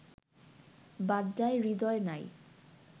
বাড্ডায় হৃদয় নাই